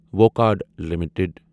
Wockhardt limited